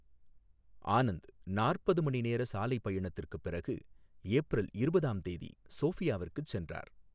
ஆனந்த் நாற்பது மணி நேர சாலை பயணத்திற்குப் பிறகு ஏப்ரல் இருபதாம் தேதி சோஃபியாவுக்கு சென்றார்.